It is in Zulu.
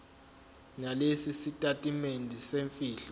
nalesi sitatimende semfihlo